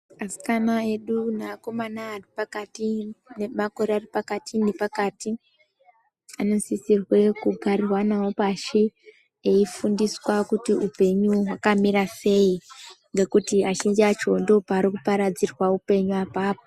Asikana edu neakomana ari pakati nemakore ari pakati nepakati anosisirwe kugarwa nawo pashi eifundiswa kuti upenyu hwakamira sei ngekuti azhinji acho ndopari kuparadzirwe upenyu apapo.